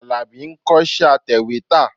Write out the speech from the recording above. Àlàbí ń kọ́ṣẹ́ atẹ̀wétà.